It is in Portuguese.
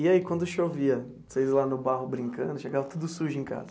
E aí quando chovia, vocês lá no barro brincando, chegava tudo sujo em casa?